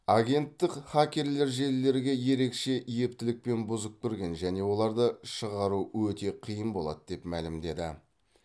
агенттік хакерлер желілерге ерекше ептілікпен бұзып кірген және оларды шығару өте қиын болады деп мәлімдеді